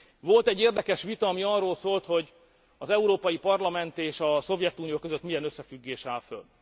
Volt egy érdekes vita, ami arról szólt, hogy az Európai Parlament és a Szovjetunió között milyen összefüggés áll fönn.